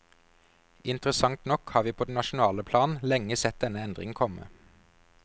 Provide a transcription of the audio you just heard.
Interessant nok har vi på det nasjonale plan lenge sett denne endring komme.